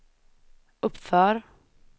uppför